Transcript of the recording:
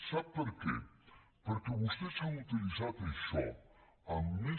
sap per què perquè vostès han utilitzat això amb més